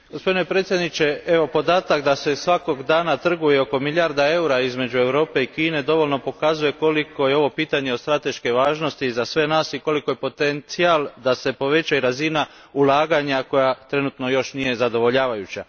Gospodine predsjedniče, podatak da se svakog dana trguje oko milijardom eura između Europe i Kine dovoljno pokazuje koliko je ovo pitanje od strateške važnosti za sve nas i koliki je potencijal da se poveća i razina ulaganja koja trenutno još nije zadovoljavajuća.